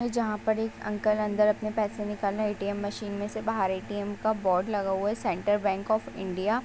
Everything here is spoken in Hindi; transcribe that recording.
जहाँ पर एक अंकल अंदर अपने पैसे निकालने ए.टी.एम. मशीन में से बाहर ए.टी.एम. का बोर्ड लगा हुआ है सेंट्रल बैंक ऑफ़ इंडिया .